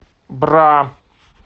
бра